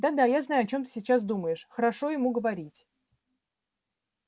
да да я знаю о чём ты сейчас думаешь хорошо ему говорить